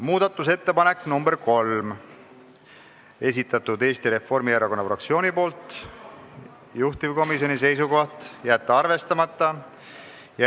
Muudatusettepanek nr 3 on Eesti Reformierakonna fraktsiooni esitatud, juhtivkomisjoni seisukoht: jätta arvestamata.